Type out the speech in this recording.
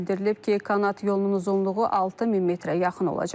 Bildirilib ki, Kanat yolunun uzunluğu 6000 metrə yaxın olacaq.